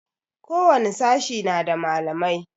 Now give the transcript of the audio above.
Ko wani sashe na da malamai